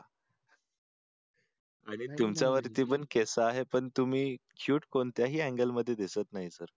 आणि तुमच्या वरती पण केस आहे पण तुम्ही क्युट कोणत्याही अँगलमध्ये दिसत नाही सर